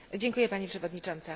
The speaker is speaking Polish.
Pani Przewodnicząca!